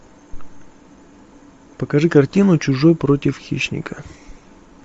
покажи картину чужой против хищника